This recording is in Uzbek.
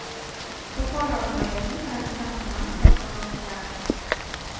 Buxoro viloyatining Romitan tumani prokurori o‘zgardi.